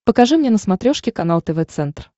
покажи мне на смотрешке канал тв центр